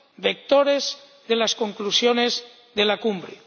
vectores de las conclusiones de la Cumbre.